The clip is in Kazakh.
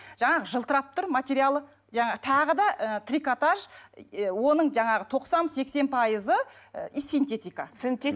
жаңағы жылтырап тұр материалы жаңа тағы да ы трикотаж оның жаңағы тоқсан сексен пайызы ы синтетика